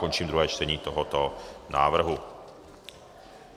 Končím druhé čtení tohoto návrhu.